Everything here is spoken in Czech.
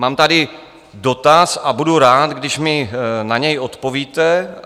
Mám tady dotaz a budu rád, když mi na něj odpovíte.